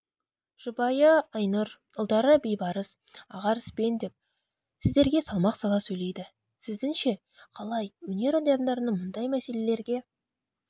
жұбайы айнұр ұлдары бейбарыс ақарыспен деп сіздерге салмақ сала сөйлейді сіздіңше қалай өнер адамдарының мұндай мәселелерге